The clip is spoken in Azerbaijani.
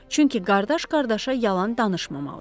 Çünki qardaş qardaşa yalan danışmamalıdır.